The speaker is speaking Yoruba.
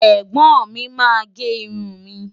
Ẹ̀gbọ́n mi máa gé irun mi.